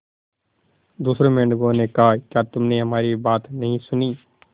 दूसरे मेंढकों ने कहा क्या तुमने हमारी बात नहीं सुनी